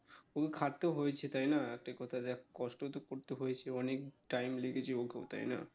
খুবই খাটতে হয়েছে তাই না একটা কথা দেখ কষ্ট তো করতে হয়েছে অনেক time লেগেছে ওকেও তাই না?